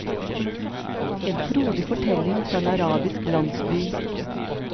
En frodig fortelling fra en arabisk landsby.